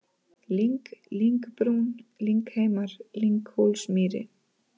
Lyng, Lyngbrún, Lyngheimar, Lynghólsmýri